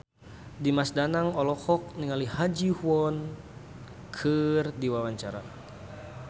Dimas Danang olohok ningali Ha Ji Won keur diwawancara